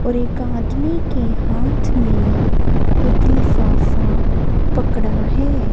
और एक आदमी के हाथ में एक लिफाफा पकड़ा है।